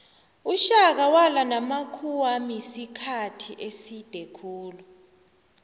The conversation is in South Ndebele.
ushaka walwa namakhuwamisikhathi eside khulu